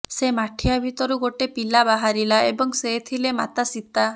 ସେ ମାଠିଆ ଭିତରୁ ଗୋଟେ ପିଲା ବାହାରିଲା ଏବଂ ସେ ଥିଲେ ମାତା ସୀତା